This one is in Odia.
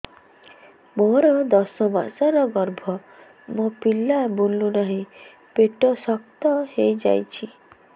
ମୋର ଦଶ ମାସର ଗର୍ଭ ମୋ ପିଲା ବୁଲୁ ନାହିଁ ପେଟ ଶକ୍ତ ହେଇଯାଉଛି